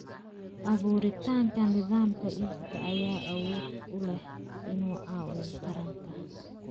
Abuuritaanka nidaamka iibka ayaa awood u leh inuu caawiyo taranta.